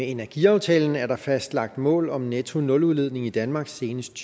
energiaftalen er der fastlagt mål om netto nuludledning i danmark senest i